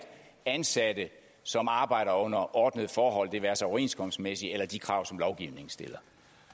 ansatte som arbejder under ordnede forhold det være sig overenskomstmæssige eller de krav som lovgivningen stiller